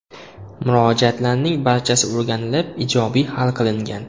Murojaatlarning barchasi o‘rganlib ijobiy hal qilingan.